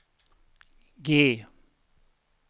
G